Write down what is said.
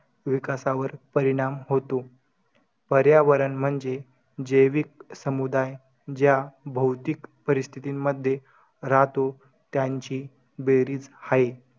मग मुली या